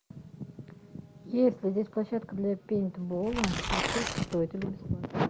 есть ли здесь площадка для пейнтбола и сколько стоит или бесплатно